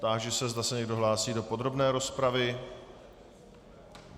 Táži se, zda se někdo hlásí do podrobné rozpravy.